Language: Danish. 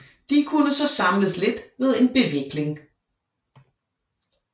De kunne så samles lidt ved en bevikling